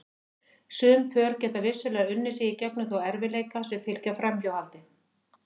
Sum pör geta vissulega unnið sig í gegnum þá erfiðleika sem fylgja framhjáhaldi.